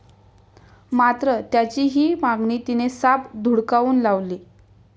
मात्र त्याची ही मागणी तिने साफ धुडकावून लावली.